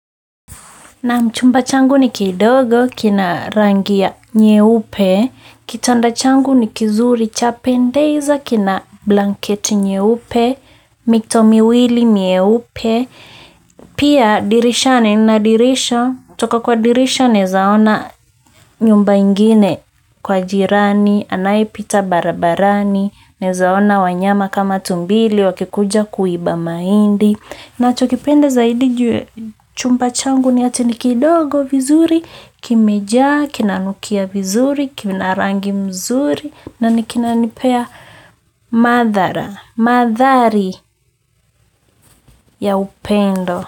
Naam chumba changu ni kidogo kina rangi ya nyeupe, kitanda changu ni kizuri chapendeza kina blanketi nyeupe, mito miwili mieupe, pia dirisha nina dirisha kutoka kwa dirisha naweza ona nyumba ingine kwa jirani anayepita barabarani naweza ona tumbili wakikuja kuiba mahindi. Nachokipenda zaidi juu ya chumba changu ni ati nikidogo vizuri, kimejaa, kina nukia vizuri, kina rangi mzuri na ni kinanipea madhara, madhari ya upendo.